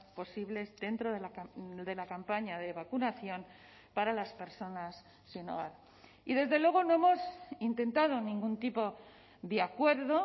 posibles dentro de la campaña de vacunación para las personas sin hogar y desde luego no hemos intentado ningún tipo de acuerdo